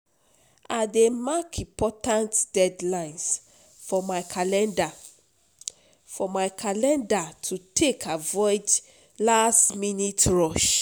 I dey mark important deadlines for my calendar for my calendar to take avoid last-minute rush.